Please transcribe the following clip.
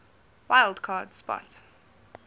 wild card spot